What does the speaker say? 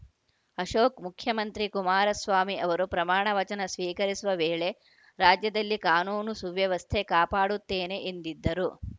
ಅಶೋಕ್‌ ಮುಖ್ಯಮಂತ್ರಿ ಕುಮಾರಸ್ವಾಮಿ ಅವರು ಪ್ರಮಾಣ ವಚನ ಸ್ವೀಕರಿಸುವ ವೇಳೆ ರಾಜ್ಯದಲ್ಲಿ ಕಾನೂನು ಸುವ್ಯವಸ್ಥೆ ಕಾಪಾಡುತ್ತೇನೆ ಎಂದಿದ್ದರು